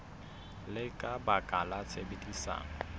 le ka baka la tshebedisano